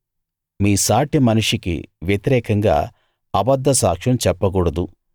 మీ సాటి మనిషికి వ్యతిరేకంగా అబద్ధ సాక్ష్యం చెప్పకూడదు